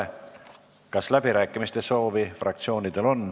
Kas fraktsioonidel on läbirääkimiste soovi?